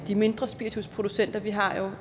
de mindre spiritusproducenter vi har jo